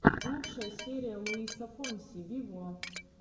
лучшая серия луиса фонси вево